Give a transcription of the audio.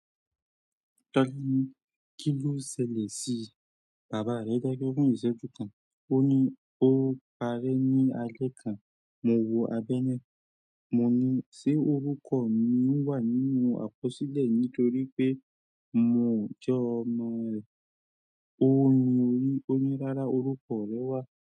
Tọ́lá ní, "kí ló ṣẹlẹ̀ sí bàbá rẹ dákẹ́ fún ìṣẹ́jú kan." O ní. O pare ní alẹ́ kan mo wo abẹ́ náà, mo ní ṣé orúkọ mi wà nínú àkọsílẹ̀ nítorí pé mo jẹ́ ọmọ rẹ̀. Ó mi orí, ó ní, "rárá, orúkọ rẹ wà.'"